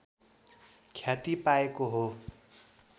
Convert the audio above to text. ख्याति पाएको हो